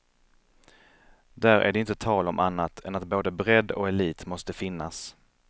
Där är det inte tal om annat än att både bredd och elit måste finnas.